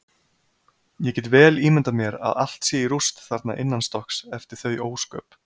Ég get vel ímyndað mér að allt sé í rúst þarna innanstokks eftir þau ósköp.